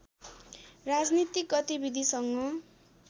राजनीतिक गतिविधिसँग